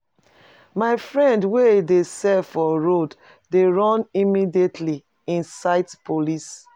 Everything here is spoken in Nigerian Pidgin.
My friend wey dey sell for road dey run immediately im sight police.